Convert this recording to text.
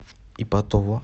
ипатово